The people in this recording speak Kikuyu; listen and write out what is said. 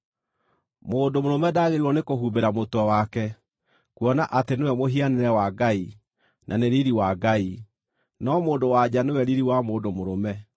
Mũndũ mũrũme ndaagĩrĩirwo nĩkũhumbĩra mũtwe wake, kuona atĩ nĩwe mũhianĩre wa Ngai, na nĩ riiri wa Ngai; no mũndũ-wa-nja nĩwe riiri wa mũndũ mũrũme.